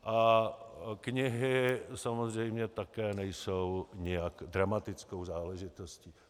A knihy samozřejmě také nejsou nijak dramatickou záležitostí.